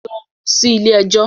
Lọ sí ilé ẹjọ́